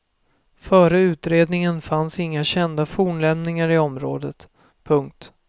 Före utredningen fanns inga kända fornlämningar i området. punkt